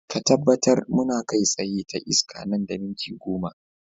Ka tabbatar muna kai tsaye ta iska nan da minti goma.